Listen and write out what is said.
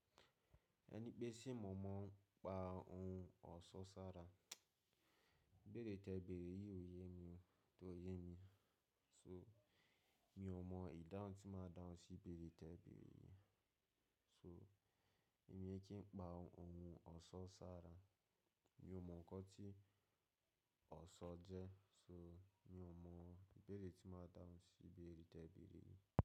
Ẹni pé ṣe mọ̀ ọ́n pa ohun ọ̀ṣọ́ sára, ibèrè tẹ bèrè yìí kò yé mi ko yé mi. So mi ò mọ ìdáhun tí máa dáhùn sí ibèrè tẹ bèrè yìí. So èmi kí n pa ohun ọ̀ṣọ́ sára, mi ò mọ nǹkan tí ọ̀ṣọ́ jẹ́, so mi ò mọ ìbéèrè tí màá dáhùn sí ibèrè tẹ bèrè yìí.